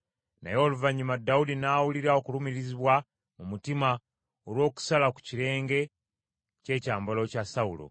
Naye oluvannyuma Dawudi n’awulira okulumirizibwa mu mutima olw’okusala ku kirenge ky’ekyambalo kya Sawulo.